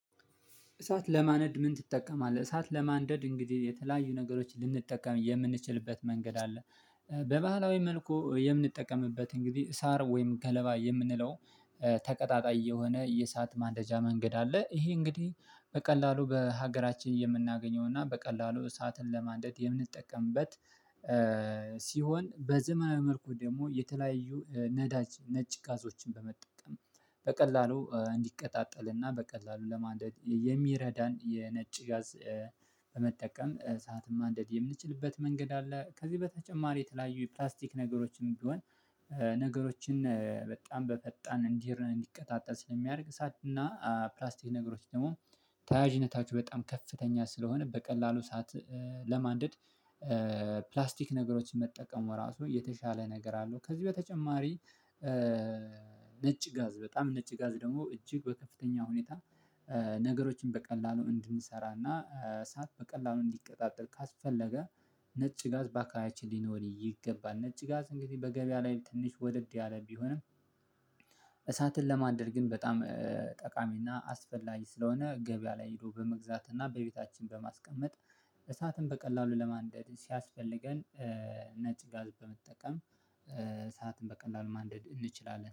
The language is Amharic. እሳት ለማንደድ ምን ትጠቀማለህ? እሳት ለማንደድ እንግዲህ የተለያዩ ነገሮችን ልንጠቀም የምንችልበት መንገድ አለ። በባህላዊ መልኩ የምንጠቀምበት እንግዲህ ሳር ወይም ገለባ የምንለው ተቀጣጣይ የሆነ የእሳት ማንተቻ መንገድ አለ። ይሄ እንግዲህ በቀላሉ በሀገራችን የምናገኘው እና በቀላሉ እሳትን ለማድረግ የምንጠቀምበት። ሲሆን በዘመናዊ መልኩ ደግሞ የተለያዩ ነዳጅ ነጭ ጋዞችን በመጠቀም በቀላሉ እንዲቀጣጠልና በቀላሉ ለማድረግ የሚረዳን የነጭ ጋዝ። ሰዓትም ማንደድ የምንችልበት መንገድ አለ። ከዚህ በተጨማሪ የተለያዩ የፕላስቲክ ነገሮችን ቢሆን። ነገሮችን በጣም በፈጣን እንዲህ እንዲቀጣጠል ስለሚያደርግ ሳድና ፕላስቲክ ነገሮች ደግሞ ተያያዥነታችሁ በጣም ከፍተኛ ስለሆነ በቀላሉ ሰዓት ለማንደድ ፕላስቲክ ነገሮችን መጠቀሙ ራሱ የተሻለ ነገር አለው። ከዚህ በተጨማሪ። ነጭ ጋዝ በጣም ነጭ ጋዝ ደግሞ እጅግ በከፍተኛ ሁኔታ። ነገሮችን በቀላሉ እንድንሰራና ሰዓት በቀላሉ እንዲቀጣጠል ካስፈለገ ነጭ ጋዝ በአካባቢው ሊኖር ይገባል። ነጭ ጋዝ እንግዲህ በገበያ ላይ ትንሽ ወደድ ያለ ቢሆንም። እሳትን ለማድረግ ግን በጣም ጠቃሚና አስፈላጊ ስለሆነ። ገበያ ላይ ሄዶ በመግዛትና በቤታችን በማስቀመጥ። እሳትን በቀላሉ ለማንደድ ሲያስፈልገን። ነጭ ጋዝ በመጠቀም እሳትን በቀላሉ ማንደድ እንችላለን